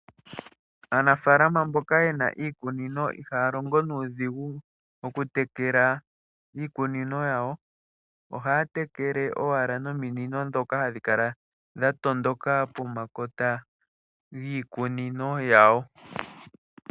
Aanafaalama mboka ye na iikunino ihaa longo nuudhigu okutekela iikunino yawo. Ohaa tekele owala nominino ndhoka hadhi kala dha tondoka pomakota giikunino yawo.